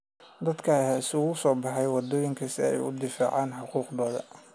Dadka ayaa isugu soo baxay waddooyinka si ay u difaacaan xuquuqdooda.